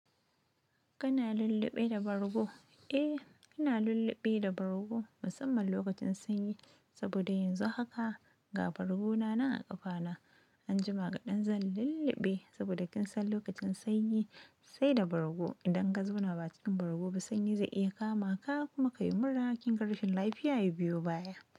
Kana lulluɓe da bargo? Eh, ina lulluɓe da bargo musamman lokacin sanyi, saboda yanzu haka ga bargona nan a ƙafana. Anjima kaɗan zan lulluɓe saboda kinsan lokacin sanyi sai da bargo idan gazo na ba cikin bargo ba sanyi zai iya kama ka kuma ka yi mura ƙinga rashin lafiya ya biyo baya.